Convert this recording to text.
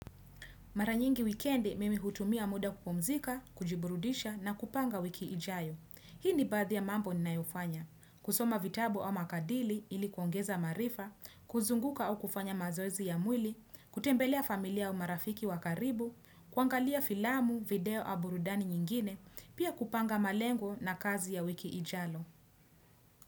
Mara nyingi wikendi mimi hutumia muda kupumzika, kujiburudisha na kupanga wiki ijayo. Hii ni baadhi ya mambo ninayofanya. Kusoma vitabu au makadili ilikuongeza maarifa, kuzunguka au kufanya mazoezi ya mwili, kutembelea familia au marafiki wa karibu, kuangalia filamu, video au burudani nyingine, pia kupanga malengo na kazi ya wiki ijalo.